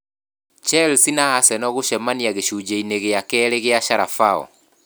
Chelsea na Arsenal gũcemania gĩcunjĩ-inĩ gĩa kerĩ kĩa Carabao